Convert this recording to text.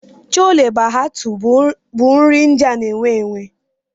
Chole Bhatuu bụ nri India na-ewu ewu.